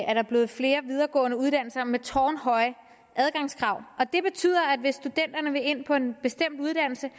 er der blevet flere videregående uddannelser med tårnhøje adgangskrav og det betyder at hvis studenterne vil ind på en bestemt uddannelse